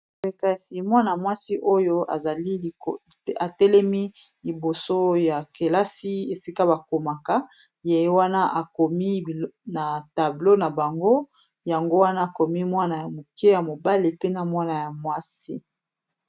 kasi mwana-mwasi oyo azali atelemi liboso ya kelasi esika bakomaka ye wana akomi na tablo na bango yango wana akomi mwana ya moke ya mobale pena mwana ya mwasi